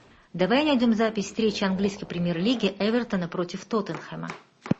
давай найдем запись встречи английской премьер лиги эвертона против тоттенхэма